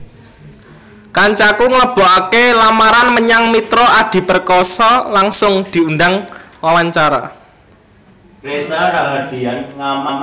Kancaku nglebokake lamaran menyang Mitra Adi Perkasa langsung diundang wawancara